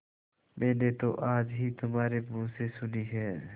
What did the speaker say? मैंने तो आज ही तुम्हारे मुँह से सुनी है